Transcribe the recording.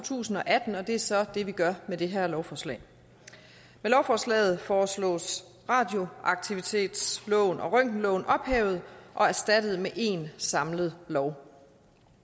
tusind og atten og det er så det vi gør med det her lovforslag med lovforslaget foreslås radioaktivitetsloven og røntgenloven ophævet og erstattet med én samlet lov